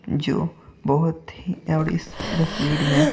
जो बहुत हीऔड़ इस तस्वीर में--